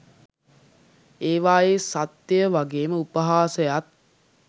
ඒවායේ සත්‍යයය වගේම උපහාසයත්